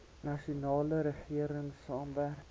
nasionale regering saamwerk